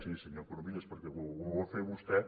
sí senyor corominas perquè ho va fer vostè